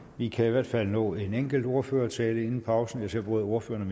vi kan i hvert fald nå en enkelt ordførertale inden pausen jeg ser at både ordføreren